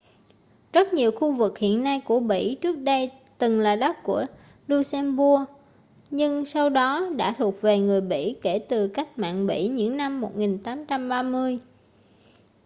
rất nhiều khu vực hiện nay của bỉ trước đây từng là đất của luxembourg nhưng sau đó đã thuộc về người bỉ kể từ cách mạng bỉ những năm 1830